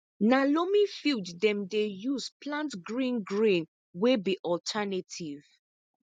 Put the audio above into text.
na loamy field dem dey use plant green grain wey be alternative